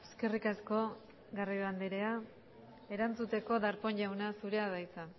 eskerrik asko garrido andrea erantzuteko darpón jauna zurea da hitza